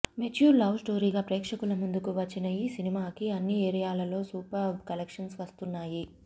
mature love స్టొరీగా ప్రేక్షకుల ముందుకు వచ్చిన ఈ సినిమాకి అన్ని ఏరియాలలో సూపర్బ్ కలెక్షన్స్ వస్తున్నాయి